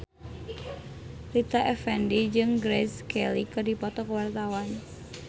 Rita Effendy jeung Grace Kelly keur dipoto ku wartawan